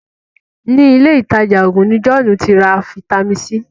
ní Ilé ìtajà oògùn ní John tí ra Vitamin C.